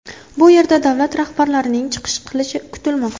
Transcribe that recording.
Bu yerda davlat rahbarlarining chiqish qilishi kutilmoqda.